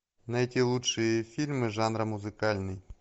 найти лучшие фильмы жанра музыкальный